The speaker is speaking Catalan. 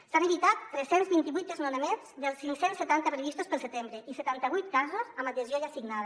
s’han evitat tres cents i vint vuit desnonaments dels cinc cents i setanta previstos per al setembre i setanta vuit casos amb adhesió ja signada